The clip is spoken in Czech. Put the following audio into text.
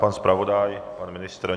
Pan zpravodaj, pan ministr?